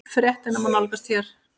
Fréttina má nálgast hér